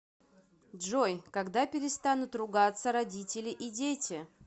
джой когда перестанут ругаться родители и дети